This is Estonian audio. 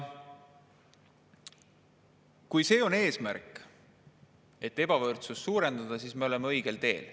Kui eesmärk on ebavõrdsust suurendada, siis me oleme õigel teel.